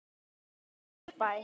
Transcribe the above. í Árbæ.